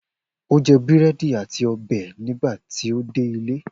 O jẹ búrẹ́dì àti ọbẹ̀ nígbà tí ó dé ilé.